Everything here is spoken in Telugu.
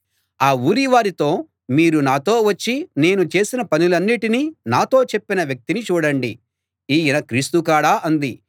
ఆ ఊరి వారితో మీరు నాతో వచ్చి నేను చేసిన పనులన్నిటినీ నాతో చెప్పిన వ్యక్తిని చూడండి ఈయన క్రీస్తు కాడా అంది